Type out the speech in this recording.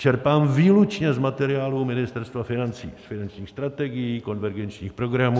Čerpám výlučně z materiálů Ministerstva financí - finančních strategií, konvergenčních programů.